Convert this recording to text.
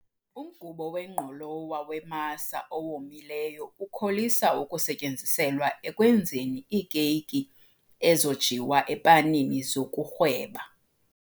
Umgubo wengqolowa wemasa owomileyo ukholisa ukusetyenziselwa ekwenzeni iikeyiki ezojiwa epanini zokurhweba.